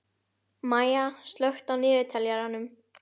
Maya, slökktu á niðurteljaranum.